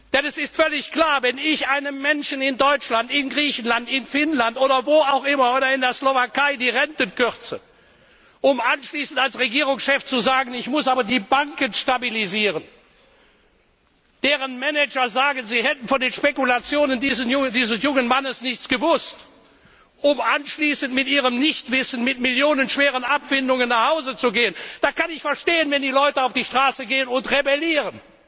Denn es ist völlig klar Wenn ich den Menschen in Deutschland, in Griechenland, in Finnland, in der Slowakei oder wo auch immer die Renten kürze, um anschließend als Regierungschef zu sagen, ich muss aber die Banken stabilisieren deren Manager sagen, sie hätten von den Spekulationen dieses jungen Mannes nichts gewusst, um anschließend mit ihrem Nichtwissen mit millionschweren Abfindungen nach Hause zu gehen da kann ich verstehen, wenn die Leute auf die Straße gehen und rebellieren!